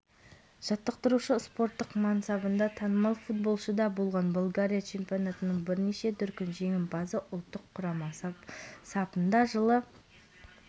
универсиадада хоккейден қыздар арасында қазақстан құрамасы ұлыбритания командасымен кездесіп есебімен тас-талқанын шығарды жерлестеріміз келесі ойынын қаңтар